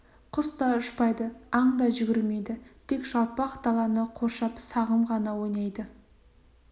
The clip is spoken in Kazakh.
құс та ұшпайды аң да жүгірмейді тек жалпақ даланы қоршап сағым ғана ойнайды